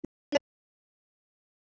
Seinna förum við lengra.